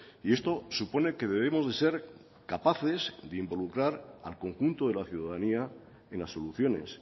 y esto supone que debemos de ser capaces de involucrar al conjunto de la ciudadanía en las soluciones